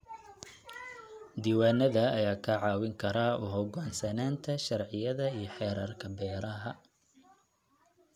Diiwaanada ayaa kaa caawin kara u hogaansanaanta sharciyada iyo xeerarka beeraha.